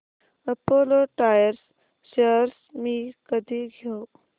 Apollo Tyres shares मी कधी घेऊ